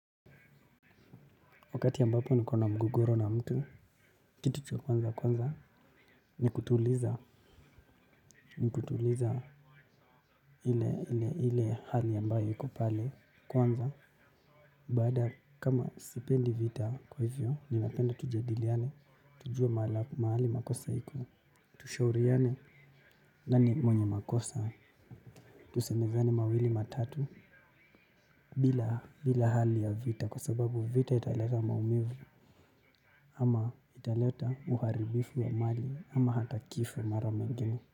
Wakati ambapo niko na mgogoro na mtu, kitu cha kwanza, ni kutuliza ile hali ambayo iko pale kwanza. Baada kama sipendi vita kwa hivyo, ninapenda tujadiliane, tujue mahali makosa iko, tushauriane, nani mwenye makosa, tusemezane mawili matatu, bila hali ya vita kwa sababu vita italeta maumivu ama italeta uharibifu wa mali ama hata kifo mara mengine.